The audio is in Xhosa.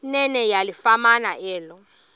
nene yalifumana elo